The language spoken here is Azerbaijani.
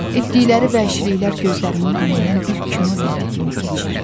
Etdikləri vəhşiliklər gözlərimin önündən bir kino lenti kimi keçir.